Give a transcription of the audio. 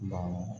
Naamu